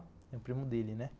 É o primo dele, né?